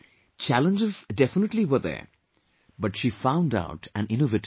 Challenges definitely were there but she found out an innovative way